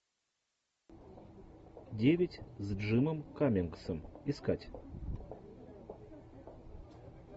девять с джимом каммингсом искать